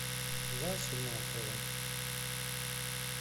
васю махова